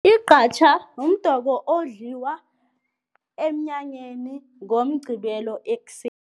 Igqatjha mdoko odliwa emnyanyeni ngoMqqibelo